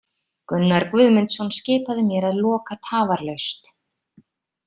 Gunnar Guðmundsson skipaði mér að loka tafarlaust.